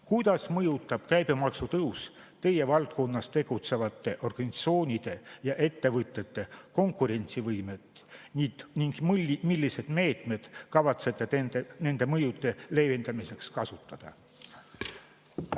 Kuidas mõjutab käibemaksu tõus teie valdkonnas tegutsevate organisatsioonide ja ettevõtete konkurentsivõimet ning milliseid meetmeid kavatsete nende mõjude leevendamiseks kasutada?